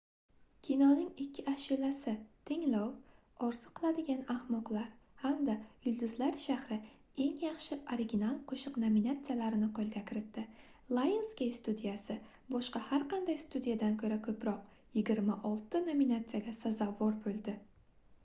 kinoning ikki ashulasi — tinglov orzu qiladigan ahmoqlar hamda yulduzlar shahri eng yaxshi original qo'shiq nominatsiyalarini qo'lga kiritdi. lionsgate studiyasi boshqa har qanday studiyadan ko'ra ko'proq – 26 ta nominatsiyaga sazovor bo'ldi